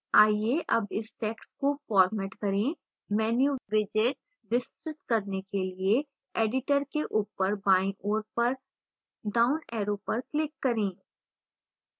आइए अब इस टैक्स्ट को format करें menu widgets विस्तृत करने के लिए editor के ऊपर बाईं ओर पर downarrow पर click करें